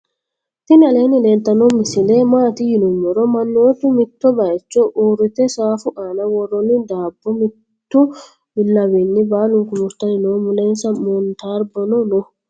tinni alleni leltano mosile maati yiinumoro maanotu mitto bayicho uurite safu anna worroni dabo mittu bilawinni balunku murtanni noo mulensa montarbono noo.